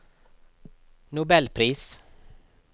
nobelpris